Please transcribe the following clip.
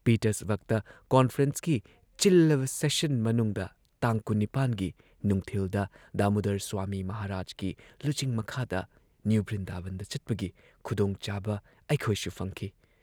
ꯄꯤꯇꯔꯁꯕꯔꯒꯇ ꯀꯣꯟꯐ꯭ꯔꯦꯟꯁꯀꯤ ꯆꯤꯜꯂꯕ ꯁꯦꯁꯟ ꯃꯅꯨꯡꯗ ꯇꯥꯡ ꯲꯸ ꯒꯤ ꯅꯨꯡꯊꯤꯜꯗ ꯗꯥꯃꯨꯗꯔ ꯁ꯭ꯋꯥꯃꯤ ꯃꯍꯥꯔꯥꯖꯀꯤ ꯂꯨꯆꯤꯡ ꯃꯈꯥꯗ ꯅ꯭ꯌꯨ ꯕ꯭ꯔꯤꯟꯗꯥꯕꯟꯗ ꯆꯠꯄꯒꯤ ꯈꯨꯗꯣꯡꯆꯥꯕ ꯑꯩꯈꯣꯢꯁꯨ ꯐꯪꯈꯤ ꯫